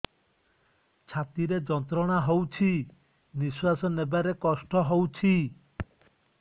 ଛାତି ରେ ଯନ୍ତ୍ରଣା ହଉଛି ନିଶ୍ୱାସ ନେବାରେ କଷ୍ଟ ହଉଛି